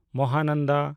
Mahananda